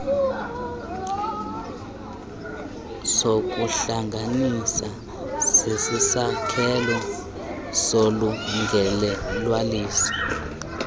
zokuhlanganisa zisisakhelo solungelelwaniso